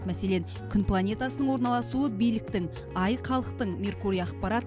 мәселен күн планетасының орналасуы биліктің ай халықтың меркурий ақпарат